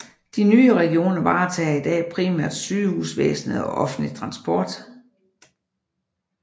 De nye regioner varetager i dag primært sygehusvæsenet og offentlig transport